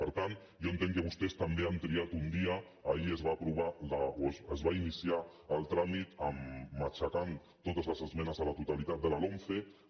per tant jo entenc que vostès també han triat un dia ahir es va iniciar el tràmit matxacant totes les esmenes a la totalitat de la lomce